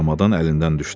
Çamadan əlindən düşdü.